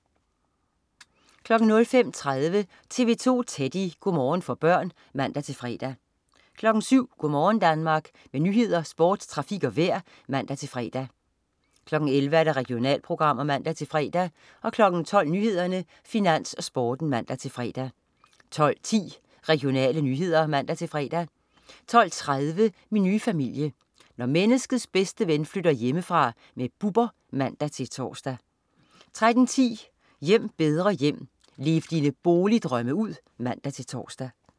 05.30 TV 2 Teddy. Go' morgen for børn (man-fre) 07.00 Go' morgen Danmark. Med nyheder, sport, trafik og vejr (man-fre) 11.00 Regionalprogrammer (man-fre) 12.00 Nyhederne, Finans, Sporten (man-fre) 12.10 Regionale nyheder (man-fre) 12.30 Min nye familie. Når menneskets bedste ven flytter hjemmefra. Bubber (man-tors) 13.10 Hjem bedre hjem. Lev dine boligdrømme ud! (man-tors)